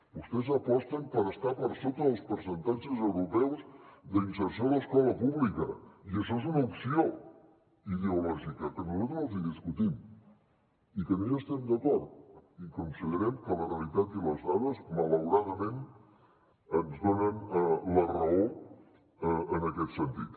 vostès aposten per estar per sota dels percentatges europeus d’inserció a l’escola pública i això és una opció ideològica que nosaltres els hi discutim i que no hi estem d’acord i considerem que la realitat i les dades malauradament ens donen la raó en aquest sentit